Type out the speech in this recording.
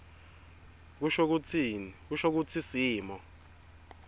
kusho kutsi simo